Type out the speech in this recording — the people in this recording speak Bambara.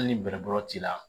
Hali ni bɛrɛbolo t'i la